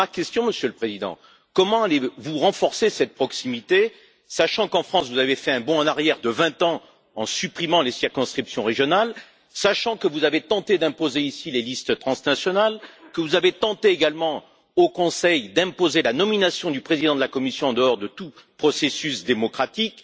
Voici ma question, Monsieur le Président comment allez vous renforcer cette proximité sachant qu'en France, vous avez fait un bond en arrière de 20 ans en supprimant les circonscriptions régionales, que vous avez tenté d'imposer ici les listes transnationales, que vous avez également tenté, au Conseil, d'imposer la nomination du Président de la Commission en dehors de tout processus démocratique?